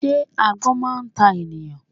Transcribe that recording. Sé agbón máa n ta ènìyàn